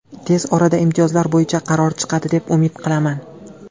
Tez orada imtiyozlar bo‘yicha qaror chiqadi, deb umid qilaman.